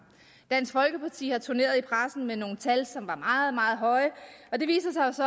dansk folkeparti har turneret i pressen med nogle tal som var meget meget høje og det viser sig jo så